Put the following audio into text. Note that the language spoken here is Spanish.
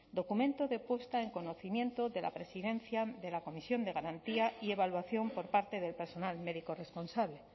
documento de puesta en conocimiento de la presidencia de la comisión de garantía y evaluación por parte del personal médico responsable